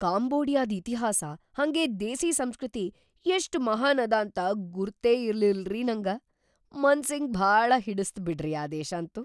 ಕಾಂಬೋಡಿಯಾದ್ ಇತಿಹಾಸ ಹಂಗೇ ದೇಸೀ ಸಂಸ್ಕೃತಿ ಎಷ್ಟ್‌ ಮಹಾನ್‌ ಅದಾಂತ ಗುರ್ತೇ ಇರ್ಲಿಲ್ರಿ ನಂಗ! ಮನ್ಸಿಗ್‌ ಭಾಳ ಹಿಡಿಸ್ತ್‌ ಬಿಡ್ರಿ ಆ ದೇಶಂತೂ.